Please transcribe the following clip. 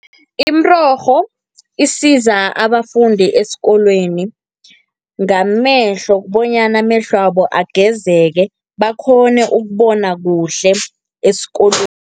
Imirorho, isiza abafundi esikolweni ngamehlo, bonyana amehlwabo agezeke bakghone ukubona kuhle esikolweni